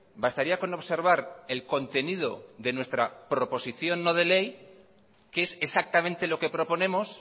bastaría con observar el contenido de nuestra proposición no de ley qué es exactamente lo que proponemos